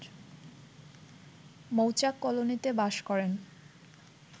মৌচাক কলোনীতে বাস করেন